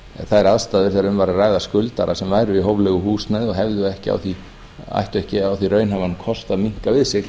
þær aðstæður þegar um væri að ræða skuldara sem væri í hóflegu húsnæði og hefði ekki raunhæfan kost á því að minnka við sig